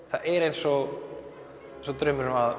það er eins og draumurinn